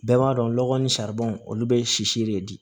Bɛɛ b'a dɔn lɔgɔ ni saribɔn olu bɛ sisi de di